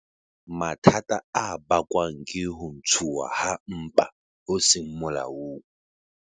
Mathata a bakwang ke ho ntshuwa ha mpa ho seng molaong.